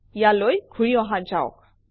ইয়ালৈ ঘূৰি অহা যাওক